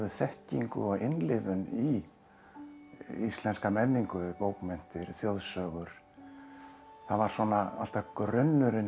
þekkingu og innlifun í íslenska menningu bókmenntir þjóðsögur það var svona alltaf grunnurinn